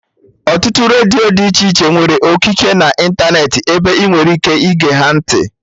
Ọtụtụ redio dị iche iche nwere okiki na ịntanetị ebe ị nwere ike ige ha ntị